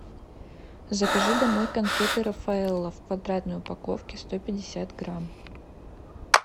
закажи домой конфеты рафаэлло в квадратной упаковке сто пятьдесят грамм